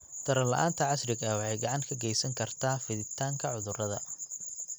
Taran la'aanta casriga ah waxay gacan ka geysan kartaa fiditaanka cudurrada.